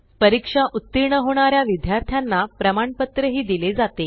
परीक्षा उत्तीर्ण होणाऱ्या विद्यार्थ्यांना प्रमाणपत्र ही दिले जाते